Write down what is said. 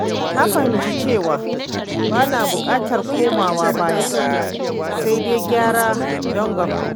Na fahimci cewa ba na bukatar komawa baya, sai dai gyara don gaba.